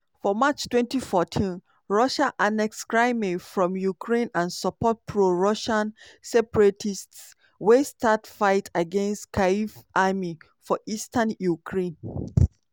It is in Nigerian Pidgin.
for march twenty fourteen russia annex crimea from ukraine and support pro-russian separatists wey start fight against kyiv army for eastern ukraine.